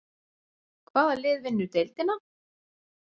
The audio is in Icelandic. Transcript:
Hvaða lið vinnur deildina?